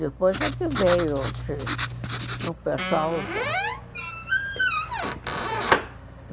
Depois é que veio o pessoal.